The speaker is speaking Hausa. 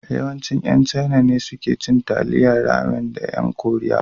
Yawanci ƴan Chaina ne suke cin Taliyan Ramen da ƴan Koriya.